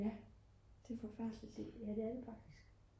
ja det er det faktisk